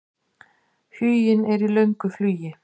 Huginn er í löngu flugi.